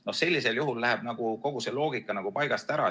No sellisel juhul läheb kogu see loogika paigast ära.